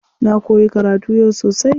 Na koyi karatu yau sosai.